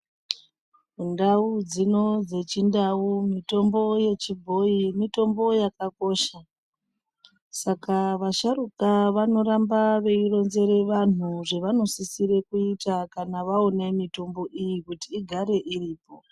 Mundau dzino dzechindau mitombo yechibhoyi mitombo yakakosha, saka vasharukwa vanoramba veironzera vanhu zvavanosisira kuita kana vaona mitombo iyi kuti igare iriko.